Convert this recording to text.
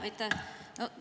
Aitäh!